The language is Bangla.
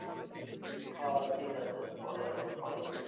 হ ঠিক আছে পরে আবার call করিস